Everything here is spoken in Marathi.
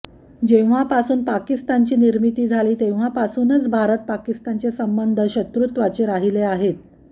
जेव्हापासून पाकिस्तानची निर्मिती झाली तेव्हापासूनच भारत पाकिस्तानचे संबंध शत्रुत्वाचेच राहिले आहेत